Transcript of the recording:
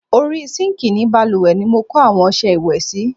Orí sinkii ni bálùwẹ̀ ni mo kó àwọn ọsẹ ìwẹ̀ sí.